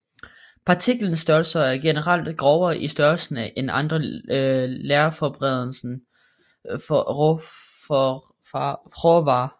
Partikelstørrelsen er generelt grovere i størrelsen end andre lerforberedende råvarer